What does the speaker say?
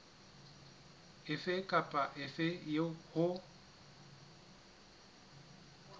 efe kapa efe eo ho